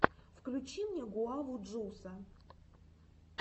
включи мне гуаву джуса